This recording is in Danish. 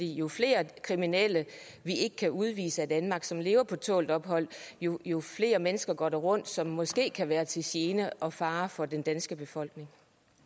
jo flere kriminelle vi ikke kan udvise af danmark og som lever på tålt ophold jo jo flere mennesker går rundt som måske kan være til gene og fare for den danske befolkning